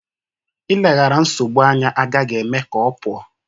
Ileghara nsogbu anya agaghị eme ka ọ pụọ.